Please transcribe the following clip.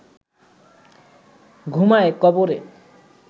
ঘুমায় কবরে